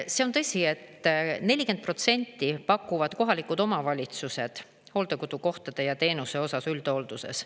See on tõsi, et 40% pakuvad kohalikud omavalitsused hooldekodukohtade ja teenuse osas üldhoolduses.